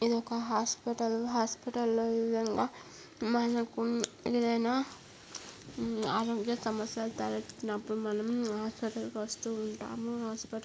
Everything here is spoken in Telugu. ఇదొక హాస్పిటల్ . హాస్పిటల్ లో ఈ విధంగా మనకు ఏదైనా హ్మ్మ్ ఆరోగ్య సమస్యలు తలెత్తుకున్నప్పుడు మనం హాస్పిటల్ కి వస్తూ ఉంటాము. హాస్పిటల్ --